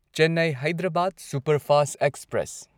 Chennai Hyderabad superfast express